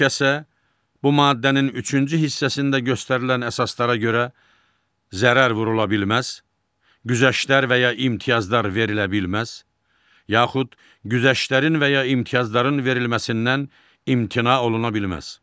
Heç kəsə bu maddənin üçüncü hissəsində göstərilən əsaslara görə zərər vurula bilməz, güzəştlər və ya imtiyazlar verilə bilməz, yaxud güzəştlərin və ya imtiyazların verilməsindən imtina oluna bilməz.